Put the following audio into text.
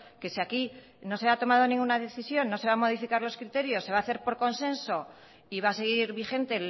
que si aquí no se ha tomado ninguna decisión no se van a modificar los criterios se va a hacer por consenso y va a seguir vigente